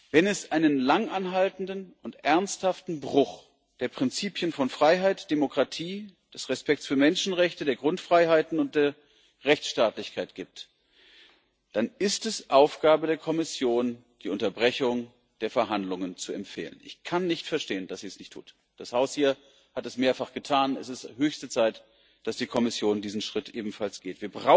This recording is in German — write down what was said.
Wenn es einen langanhaltenden und ernsthaften Bruch der Prinzipien von Freiheit, Demokratie, Achtung der Menschenrechte, der Grundfreiheiten und der Rechtsstaatlichkeit gibt, dann ist es Aufgabe der Kommission, die Unterbrechung der Verhandlungen zu empfehlen. Ich kann nicht verstehen, dass sie es nicht tut. Dieses Haus hier hat das mehrfach getan es ist höchste Zeit, dass die Kommission diesen Schritt ebenfalls geht.